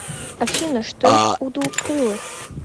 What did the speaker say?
афина что есть у двукрылых